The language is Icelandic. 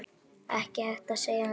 Ekki hægt að segja annað.